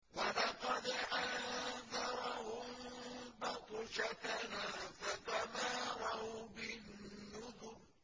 وَلَقَدْ أَنذَرَهُم بَطْشَتَنَا فَتَمَارَوْا بِالنُّذُرِ